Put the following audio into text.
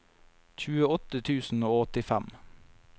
tjueåtte tusen og åttifem